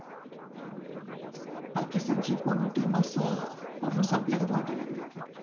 Pakistan ची पूर्ण team असं पूर्ण संपल्यागत वाटायला लागल्या आता